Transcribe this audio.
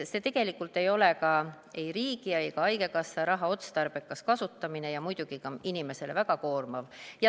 See tegelikult ei ole ei riigi ega haigekassa raha otstarbekas kasutamine ja on muidugi ka inimesele väga koormav.